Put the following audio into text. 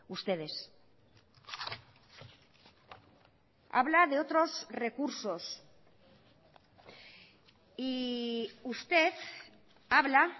ustedes habla de otros recursos y usted habla